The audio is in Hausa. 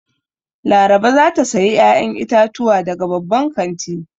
Laraba za ta sayi 'ya'yan itatuwa daga babban kanti.